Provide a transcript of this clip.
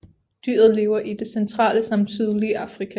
Dyret lever i det centrale samt sydlige Afrika